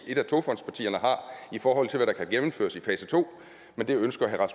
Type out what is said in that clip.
et af togfondspartierne har i forhold til hvad der kan gennemføres i fase to men det ønsker herre